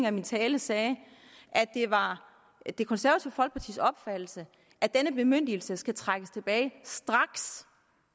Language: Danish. af min tale sagde at det var det konservative folkepartis opfattelse at denne bemyndigelse skal trækkes tilbage straks